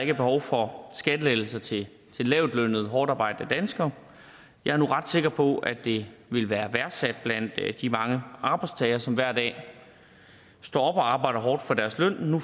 er behov for skattelettelser til lavtlønnede hårdtarbejdende danskere jeg er nu ret sikker på at det vil være værdsat blandt de mange arbejdstagere som hver dag står op og arbejder hårdt for deres løn nu